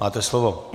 Máte slovo.